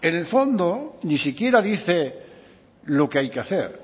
el fondo ni siquiera dice lo que hay que hacer